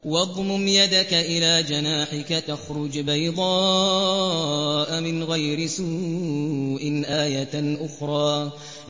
وَاضْمُمْ يَدَكَ إِلَىٰ جَنَاحِكَ تَخْرُجْ بَيْضَاءَ مِنْ غَيْرِ سُوءٍ آيَةً أُخْرَىٰ